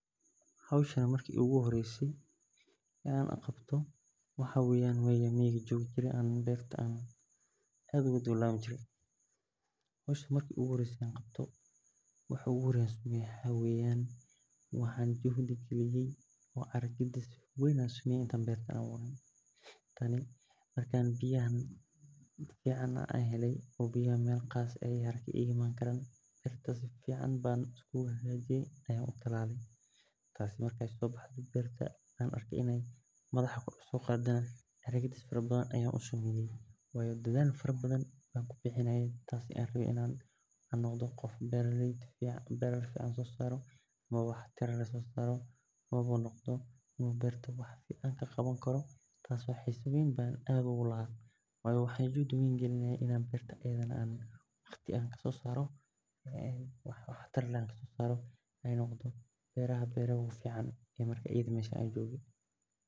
Waxa ugu horreeya howshan qabto waa inaan miiga joogo oo beerta ka daba laabmay jirey. Caro gedis weyn ayaan helay, biyo fiican helay, meel gaar ah ayaan ka iman karay si fiican u hagaajiyay oo antalalay. Markii madaxa kor u soo qaaday, caro gedis fiican u sameeyay, waan u dadaalay. Waxaan rabaa beeraley fiican inaan noqdo, waxaan rabaa in beerta wax fiican ka soo saaro. Juhdi weyn ayaan geliyay oo noqoto beerta beeraha ugu fiican meesha joogo.